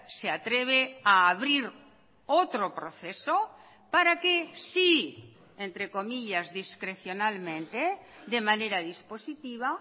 se atreve a abrir otro proceso para que si entre comillas discrecionalmente de manera dispositiva